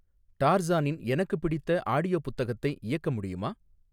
டார்சானின் எனக்கு பிடித்த ஆடியோ புத்தகத்தை இயக்க முடியுமா